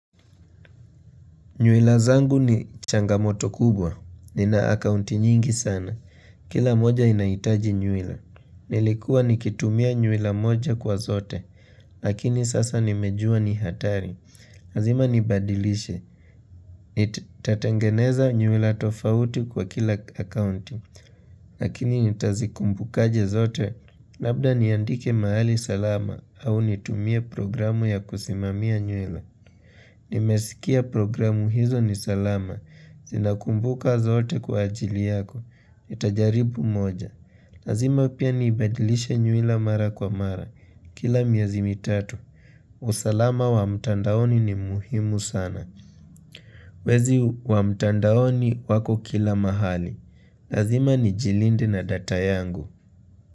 Nywila zangu ni changamoto kubwa. Nina akaunti nyingi sana. Kila moja inaitaji nywila. Nilikuwa nikitumia nywila moja kwa zote. Lakini sasa nimejua ni hatari. Lazima nibadilishe. Nitatengeneza nywila tofauti kwa kila akaunti. Lakini nitazikumbukaje zote. Labda niandike mahali salama au nitumie programu ya kusimamia nywila. Nimesikia programu hizo ni salama, zinakumbuka zote kwa ajili yako, nitajaribu moja Lazima pia niibadilishe nywila mara kwa mara, kila miezi mitatu usalama wa mtandaoni ni muhimu sana Wezi wa mtandaoni wako kila mahali, lazima nijilinde na data yangu.